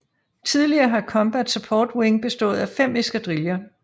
Tidligere har Combat Support Wing bestået af 5 eskadriller